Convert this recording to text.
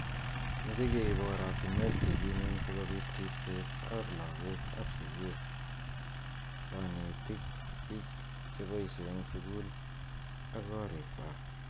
Meche keib oratunwek chekimen sikobit ribset ab lakok ab sukul, kanetik, bik cheboishei eng sukul ak korik kwaak.